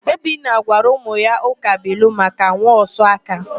Obinna gwara ụmụ ya ụkabụilu maka nwaosuaka.